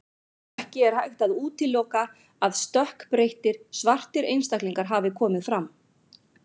Ekki er hægt að útiloka að stökkbreyttir, svartir einstaklingar hafi komið fram.